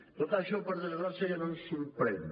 tot això per desgràcia ja no ens sorprèn